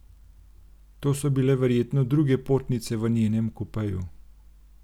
To so bile verjetno druge potnice v njenem kupeju.